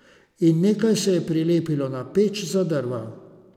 In nekaj se je prilepilo na peč za drva.